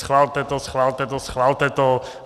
Schvalte to, schvalte to, schvalte to.